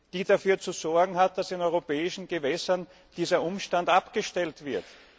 die dafür zu sorgen hat, dass in europäischen Gewässern dieser Umstand abgestellt wird.